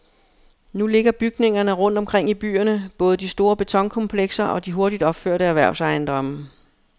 Nu ligger bygningerne rundt omkring i byerne, både de store betonkomplekser og de hurtigt opførte erhvervsejendomme.